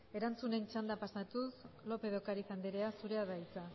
erantzunen txandara pasatuz lópez de ocariz anderea zurea da hitza